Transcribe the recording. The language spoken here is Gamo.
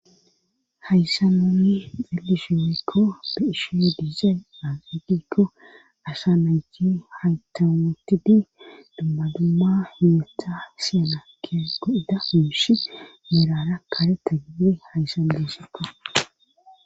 hayssa muyi delisheerekko be ishe diizee aegikko asha naycti haytawunotidi dummadumma hiyeta siyanakke go7ida hiishi meerara karetta gibidi hayssan disekka